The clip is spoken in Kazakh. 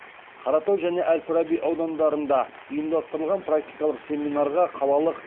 қаратау және әл фараби аудандарында ұйымдастырылған практикалық семинарға қалалық